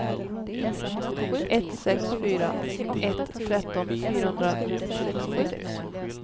ett sex fyra ett tretton fyrahundrasextiosex